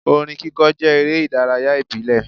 Orin kíkọ jẹ́ eré ìdárayá ìbílẹ̀.